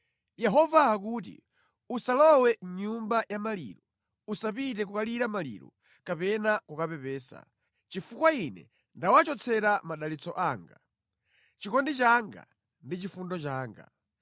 Yehova akuti, “Usalowe mʼnyumba ya maliro; usapite kukalira maliro kapena kukapepesa, chifukwa Ine ndawachotsera madalitso anga, chikondi changa ndi chifundo changa.”